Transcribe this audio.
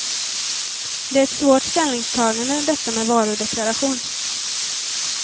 Det är ett svårt ställningstagande detta med varudeklaration.